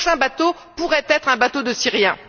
Le prochain bateau pourrait être un bateau de Syriens.